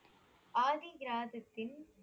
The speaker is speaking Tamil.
ஆதிகிராததின்